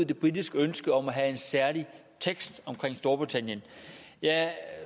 det britiske ønske om at have en særlig tekst om storbritannien jeg